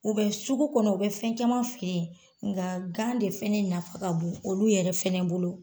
U bɛ sugu kɔnɔ, u bɛ fɛn caman feere, nka gan de fɛnɛ ne nafa ka bon olu yɛrɛ fɛnɛ bolo.